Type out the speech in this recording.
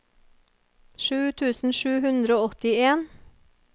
sju tusen sju hundre og åttien